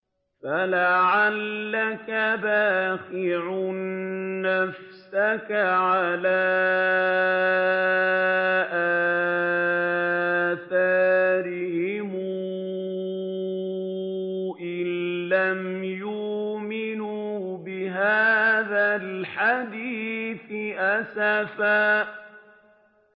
فَلَعَلَّكَ بَاخِعٌ نَّفْسَكَ عَلَىٰ آثَارِهِمْ إِن لَّمْ يُؤْمِنُوا بِهَٰذَا الْحَدِيثِ أَسَفًا